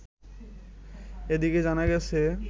এদিকে জানা গেছে